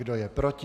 Kdo je proti?